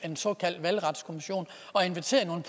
en såkaldt valgretskommission og inviterede